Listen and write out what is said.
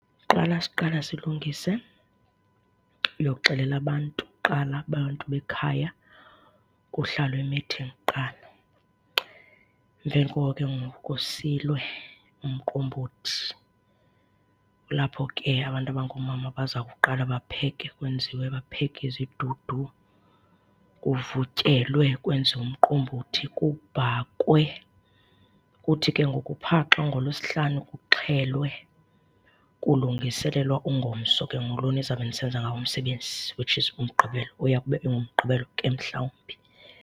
Qala siqala silungise uyowuxelela abantu kuqala, abantu bekhaya. Kuhlalwe imithingi kuqala. Emveni koko ke ngoku kusilwe umqombothi,. Kulapho ke abantu abangoomama baza kuqala bapheke kwenziwe, bapheke izidudu, kuvutyelwe, kwenziwe umqombothi, kubhakwe. Kuthi ke ngoku phaa xa ngoLwesihlanu kuxhelwe kulungiselelwa ungomso ke ngoku, lo nizawube nisenza ngawo umsebenzi, which is uMgqibelo. Uya kube enguMgqibelo ke mhlawumbi.